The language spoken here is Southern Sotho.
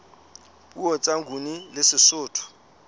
puo tsa nguni le sesotho